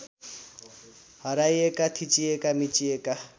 हराइएका थिचिएका मिचिएका